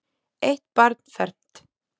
Eitt barn fermt.